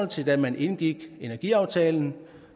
til da man indgik energiaftalen